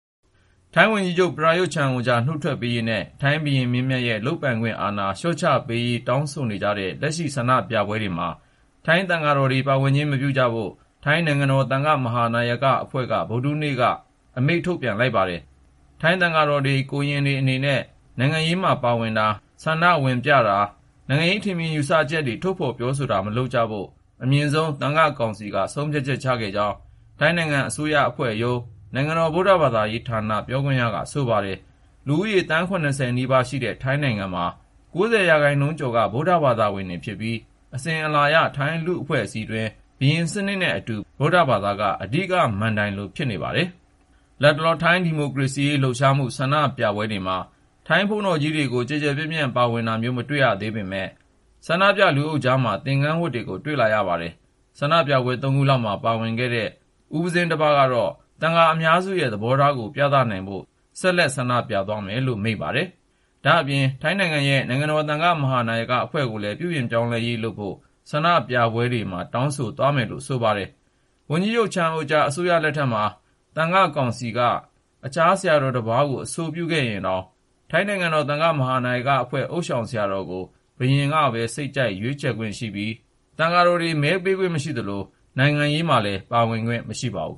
ထိုင်းဝန်ကြီးချုပ် ပရာရွတ်-ချန်အိုချာ နုတ်ထွက်ပေးရေးနဲ့ ထိုင်းဘုရင်မင်းမြတ်ရဲ့ လုပ်ပိုင်ခွင့်အာဏာ လျှော့ချပေးရေး တောင်းဆိုနေတဲ့ လက်ရှိ ဆန္ဒပြပွဲတွေမှာ ထိုင်းသံဃာတော်တွေ ပါဝင်ခြင်း မပြုကြဖို့ ၊ ထိုင်း နိုင်ငံတော်သံဃာ့ မဟာနာယကအဖွဲ့က ဗုဒ္ဓဟူးနေ့က အမိန့်ထုတ်ပြန်ထားပါတယ်။ ထိုင်းသံဃာတော်တွေ၊ ကိုရင်တွေ အနေနဲ့ နိုင်ငံရေးမှာ ပါဝင်တာ ၊ ဆန္ဒပြပွဲတွေမှာ ဝင်ရောက်လှုပ်ရှားတာ၊ နိုင်ငံရေး ထင်မြင်ယူဆချက် ထုတ်ဖေါ်ပြောဆိုတာတွေ မလုပ်ကြဖို့ အမြင့်ဆုံး သံဃာ့ ကောင်စီက ဆုံးဖြတ်ချက်ချခဲ့ကြောင်း ထိုင်းအစိုးရအဖွဲ့ရုံး နိုင်ငံတော် ဗုဒ္ဓဘာသာရေးရာဌာန ပြောခွင့်ရက ဆိုပါတယ်။ လူဦးရေ သန်း(၇၀)နီးပါးရှိတဲ့ ထိုင်းနိုင်ငံမှာ ၉၀% ကျော်က ဗုဒ္ဓဘာသာဝင်တွေဖြစ်ပြီး အစဉ်အလာအရ ထိုင်းလူ့အဖွဲ့အစည်းအတွင်း ဘုရင်စနစ်နဲ့အတူ ဗုဒ္ဓဘာသာက အဓိက မဏ္ဍိုင်လို ဖြစ်နေပါတယ်။ လတ်တလော ထိုင်းဒီမိုကရေစီရေး လှုပ်ရှားမှု ဆန္ဒပြပွဲတွေမှာ ထိုင်းဘုန်းတော်ကြီးတွေ ကျယ်ကျယ်ပြန့်ပြန့် ပါဝင်တာမျိုး မရှိသေးပေမယ့် ဆန္ဒပြ လူအုပ်ကြားထဲမှာတော့ သင်္ကန်းဝတ်တွေကို တွေ့လာရပါတယ်။ ဆန္ဒပြပွဲ ၃ ခုလောက်မှာ ပါဝင်ခဲ့တဲ့ သက်တော် ၂၁ အရွယ် ဦးပဇင်း Chistnupong Praiparee ကတော့ သံဃာအများစုရဲ့သဘောထားကို ပြသနိုင်ဖို့ ဆန္ဒပြပွဲတွေမှာ ဆက်လက် ပါဝင်သွားမယ်လို့ မိန့်ပါတယ်။ ဒါ့အပြင် ထိုင်းနိုင်ငံရဲ့ နိုင်ငံတော်သံဃာ့ မဟာနာယကအဖွဲ့ကိုလည်း ပြုပြင်ပြောင်းလဲရေး လုပ်ဖို့ ဆန္ဒပြပွဲတွေမှာ ထည့်သ ွင်း တောင်းဆို သွားမယ်လို့ ဆိုပါတယ်။ ဝန်ကြီးချုပ် ချန်အိုချာ အစိုးရလက်ထက်မှာ သံဃာ့ကောင်စီက အခြား ဆရာတော်တပါးကို အဆိုပြုရင်တောင် ထိုင်းနိုင်ငံတော်သံဃာ့ မဟာနာယကအဖွဲ့ ဥသျှောင်ဆရာတော်ကို ဘုရင်က စိတ်ကြိုက်ခန့်ခ ွင့် ရှိပြီး ၊ သံဃာတော်တွေ မဲပေးခွင့် မရှိသလို၊ နိုင်ငံရေးမှာလည်း ပါဝင်ခွင့် မရှိပါဘူး